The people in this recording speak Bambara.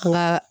An ka